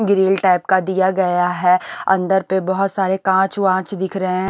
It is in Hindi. ग्रिल टाइप का दिया गया है अंदर पे बहुत सारे कांच वांच दिख रहे हैं।